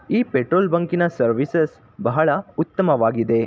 ಈ ಪೆಟ್ರೋಲ್ ಬಂಕಿನ ಸರ್ವಿಸ್ ಬಹಳ ಉತ್ತಮವಾಗಿದೆ .